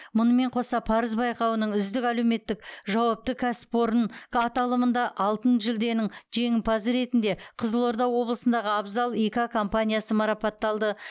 мұнымен қоса парыз байқауының үздік әлеуметтік жауапты кәсіпорын аталымында алтын жүлденің жеңімпазы ретінде қызылорда облысындағы абзал и к компаниясы марапатталды